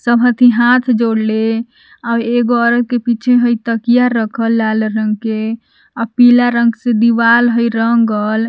सब हथि हाथ जोड़ले आव एगो औरत के पीछे हइ तकिया रखल लाल रंग के पीला रंग से दीवाल हइ रन्गल।